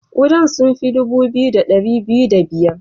Kudan sun fi dubu biyu da dari biyu da biyar.